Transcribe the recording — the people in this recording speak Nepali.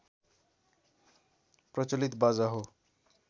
प्रचलित बाजा हो